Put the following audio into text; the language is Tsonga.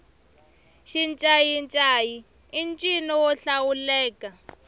xincayincayi i ncino wo hlawuleka